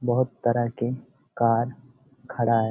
बहोत तरह के कार खड़ा है।